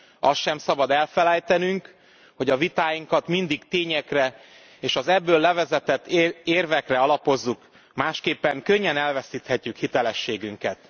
Azt sem szabad elfelejtenünk, hogy a vitáinkat mindig tényekre és az ebből levezetett érvekre alapozzuk, másképpen könnyen elveszíthetjük hitelességünket.